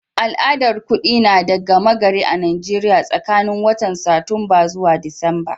Al'adar kudi na da gama gari a'Nijeriya tsakanin watan Satumba zuwa Disamba.